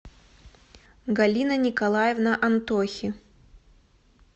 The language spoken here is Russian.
галина николаевна антохи